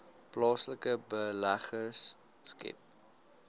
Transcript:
plaaslike beleggers skep